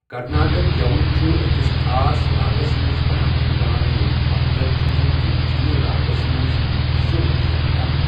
کرناٹک گٮ۪وُن چھُ ٲکِس خاص راگس منٛز بناونہٕ یِوان ییٚمیُک مطلب چھُ زِ تِم چھِنہٕ راگس منٛز سُرٕ نِش ہٹان۔